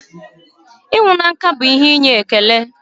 ịnwụ na nka ihe inye ekele.